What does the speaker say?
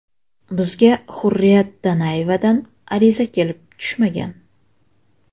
Bizga Hurriyat Donayevadan ariza kelib tushmagan.